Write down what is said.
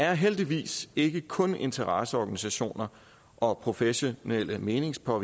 er heldigvis ikke kun interesseorganisationer og professionelle meningsdannere